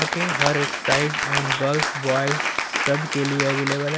के हर एक्साइज एवं गर्ल्स बॉयज सबके लिए अवेलेबल है।